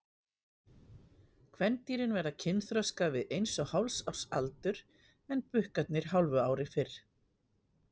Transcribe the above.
Kvendýrin verða kynþroska við eins og hálfs árs aldur en bukkarnir hálfu ári fyrr.